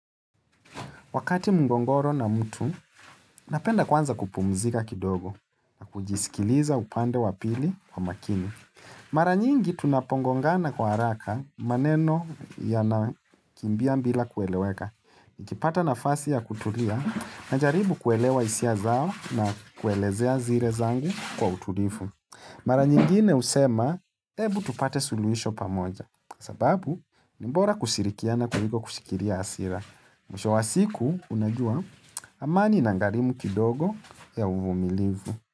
Wakati mgongoro na mtu, napenda kwanza kupumzika kidogo na kujisikiliza upande wapili kwa makini. Mara nyingi tunapongongana kwa haraka maneno yanakimbia bila kueleweka. Nikipata nafasi ya kutulia na jaribu kuelewa hisia zao na kuelezea zile zangu kwa utulivu. Mara nyingine usema, ebu tupate suluhisho pamoja. Sababu, ni bora kushirikiana na kuliko kushikilia hasira. Mwisho wa siku unajua amani inagarimu kidogo ya uvumilivu.